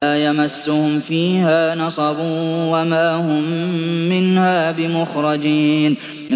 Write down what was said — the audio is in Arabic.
لَا يَمَسُّهُمْ فِيهَا نَصَبٌ وَمَا هُم مِّنْهَا بِمُخْرَجِينَ